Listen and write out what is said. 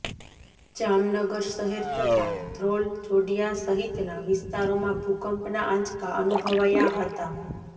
જામનગર શહેર તથા ધ્રોલ જોડિયા સહિતના વિસ્તારોમાં ભૂકંપના આંચકા અનુભવાયા હતા